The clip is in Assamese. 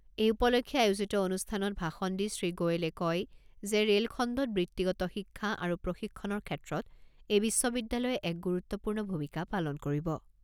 এই উপলক্ষে আয়োজিত অনুষ্ঠানত ভাষণ দি শ্ৰীগোৱেলে কয় যে ৰে'ল খণ্ডত বৃত্তিগত শিক্ষা আৰু প্ৰশিক্ষণৰ ক্ষেত্ৰত এই বিশ্ববিদ্যালয়ে এক গুৰুত্বপূৰ্ণ ভূমিকা পালন কৰিব।